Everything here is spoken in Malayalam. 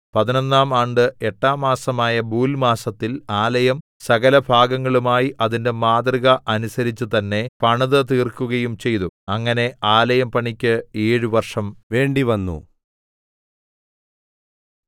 പതിനൊന്നാം ആണ്ട് എട്ടാം മാസമായ ബൂൽമാസത്തിൽ ആലയം സകലഭാഗങ്ങളുമായി അതിന്റെ മാതൃക അനുസരിച്ച് തന്നെ പണിതുതീർക്കുകയും ചെയ്തു അങ്ങനെ ആലയം പണിക്ക് ഏഴ് വർഷം വേണ്ടി വന്നു